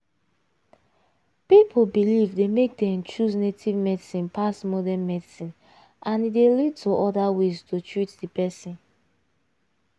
people belief dey make dem choose native medicine pass modern medicine and e dey lead to other ways to treat the person.